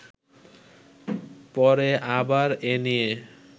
পরে আবার এ নিয়ে